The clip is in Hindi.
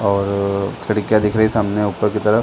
और खिड़किया दिख रही हैं सामने ऊपर की तरफ--